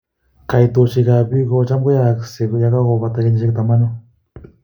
Koitoshek ab pik kocham kwaaksei yekakopata kenyishek tamanu